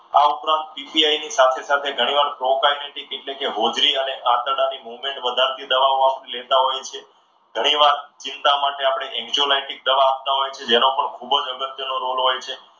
આ ઉપરાંત સાથે સાથે ઘણીવાર એટલે કે હોજરી અને આંતરડાની મોમેન્ટ વધાર ની દવાઓ આપણે લેતા હોય છે. ઘણીવાર ચિંતા માટે આપણે દવા આપતા હોય છે. જેનો ખૂબ જ અગત્યનો રોલ હોય છે.